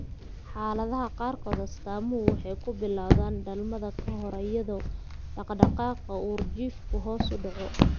Xaaladaha qaarkood, astaamuhu waxay ku bilowdaan dhalmada ka hor iyadoo dhaqdhaqaaqa uurjiifku hoos u dhaco.